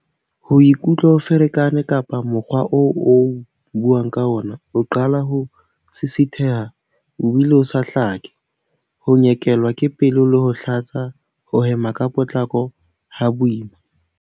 Ho ikutlwa o ferekane kapa mokgwa oo o buang ka ona o qala ho sisitheha o bile o sa hlake. Ho nyekelwa ke pelo le ho hlatsa. Ho hema ka potlako, ha boima.